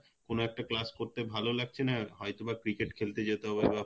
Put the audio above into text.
কোন একটা class করতে ভালো লাগছে না হয়তোবা cricket খেলতে যেতে হবে বা